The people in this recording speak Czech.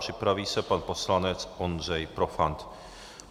Připraví se pan poslanec Ondřej Profant.